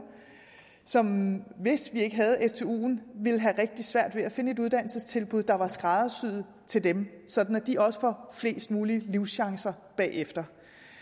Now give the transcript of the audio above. som hvis vi ikke havde stuen vil have rigtig svært ved at finde et uddannelsestilbud der er skræddersyet til dem sådan at de også får flest mulige livschancer bagefter